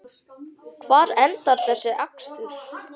Hvar endar þessi akstur?